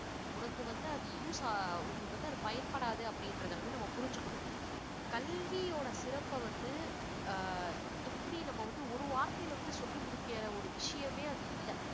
உனக்கு வந்து அது use ஆ~ உங்களுக்கு வந்து அது பயன்படாது அப்படின்றத வந்து நம்ம புரிஞ்சுக்கணும். கல்வியோட சிறப்ப வந்து அஹ் எப்படி நம்ம வந்து ஒரு வார்த்தையில வந்து சொல்லி முடிக்கிற ஒரு விஷயமே அது இல்ல